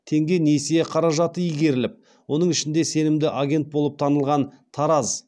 теңге несие қаражаты игеріліп оның ішінде сенімді агент болып танылған тараз